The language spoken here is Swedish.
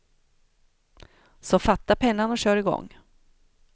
Så fatta pennan och kör i gång.